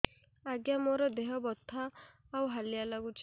ଆଜ୍ଞା ମୋର ଦେହ ବଥା ଆଉ ହାଲିଆ ଲାଗୁଚି